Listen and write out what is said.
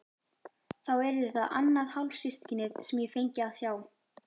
Þá yrði það annað hálfsystkinið sem ég fengi að sjá.